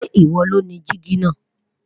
Ṣe iwo lo ni diji naa